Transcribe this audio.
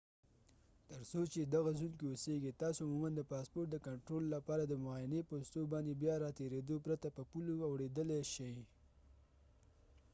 تر څو چې دغه زون کې اوسېږئ تاسو عموما د پاسپورټ د کنټرول لپاره د معاینې پوستو باندې بیا راتېرېدو پرته په پولو اوړېدلای شئ